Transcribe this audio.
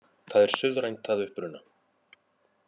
Það er suðrænt að uppruna